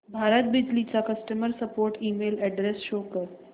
भारत बिजली चा customer support email address show कर